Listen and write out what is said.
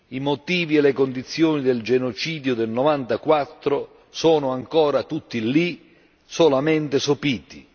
I motivi e le condizioni del genocidio del '94 sono ancora tutti lì, solamente sopiti.